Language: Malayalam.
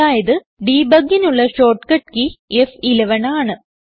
അതായത് Debugനുള്ള ഷോർട്ട്കട്ട് കെയ് ഫ്11 ആണ്